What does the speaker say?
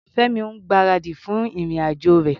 Fẹ́mi ń gbáradì fún ìrìn-àjò rẹ̀.